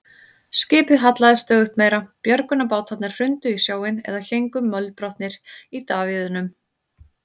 Skipið hallaðist stöðugt meira, björgunarbátarnir hrundu í sjóinn eða héngu mölbrotnir í davíðunum.